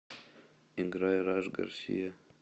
играй раш гарсия